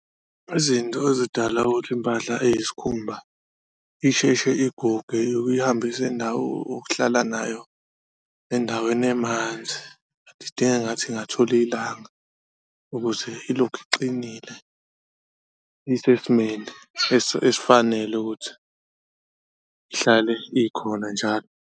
Izinto ezidala ukuthi impahla eyisikhumba isheshe iguge ukuyihambisa okuhlala nayo endaweni emanzi idinga engathi ingathola ilanga ukuze ilokhu iqinile, isesimeni esifanele ukuthi ihlale ikhona njalo.